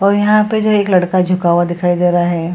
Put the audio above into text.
और यहां पे जो है एक लड़का झुका हुआ दिखाई दे रहा है।